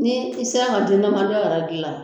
Ni i sera